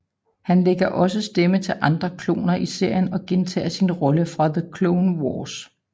Han lægger også stemme til andre kloner i serien og gentager sin rolle fra The Clone Wars